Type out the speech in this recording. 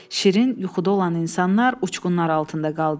Şirin yuxuda olan insanlar uçqunlar altında qaldı.